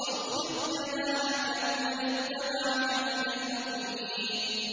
وَاخْفِضْ جَنَاحَكَ لِمَنِ اتَّبَعَكَ مِنَ الْمُؤْمِنِينَ